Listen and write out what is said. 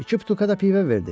İki butulka da pivə verdi.